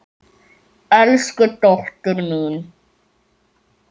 Elsku dóttir mín.